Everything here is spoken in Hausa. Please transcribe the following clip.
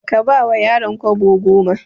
Ka bawa yaron kwabo goma.